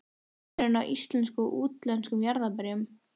En hver er munurinn á íslenskum og útlendum jarðarberjum?